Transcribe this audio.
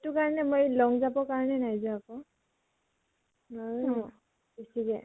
এইটো কাৰণে মই long jump ৰ কাৰণে নাই যোৱা আকৌ। নোৱাৰো ন বেছি কে